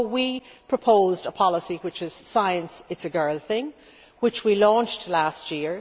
So we proposed a policy, Science It's a girl thing', which we launched last year.